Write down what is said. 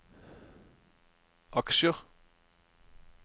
aksjer